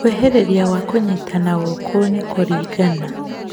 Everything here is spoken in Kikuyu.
Kwĩhĩrĩria gwa kũnyitana gũkũ nĩ kũringana